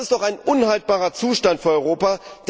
Das ist doch ein unhaltbarer Zustand für Europa!